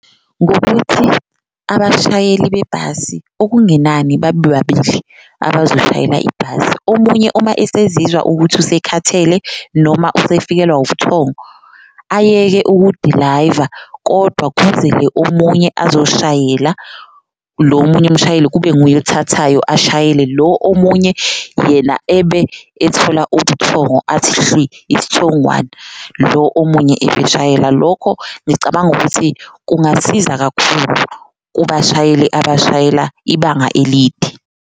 Ngokuthi abashayeli bebhasi okungenani babe babili abazoshayela ibhasi omunye uma esezizwa ukuthi usekhathele noma usefikelwa ubuthongo ayeke ukudilayiva kodwa kuzele omunye azoyishayela, lo omunye umshayeli kube nguye othathayo ashayele. Lo omunye yena ebe ethola ubuthongo athi hlwi isithongwane lo omunye ebeshayela, lokho ngicabanga ukuthi kungasiza kakhulu kubashayeli abashayela ibanga elide.